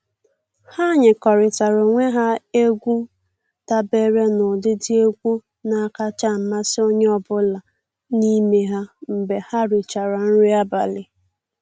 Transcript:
Ha nyekọrịtara onwe ha egwu dabere n'ụdịdị egwu na-akacha amasị onye ọbụla n'ime ha mgbe ha richara nri abalị.